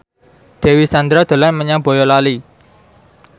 Dewi Sandra dolan menyang Boyolali